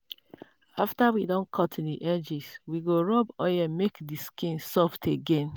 after we don cut the edges we go rub make the skin soft again.